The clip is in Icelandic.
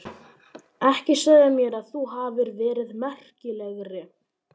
Ekki segja mér að þú hafir verið merkilegri.